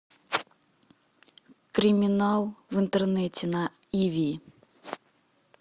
криминал в интернете на иви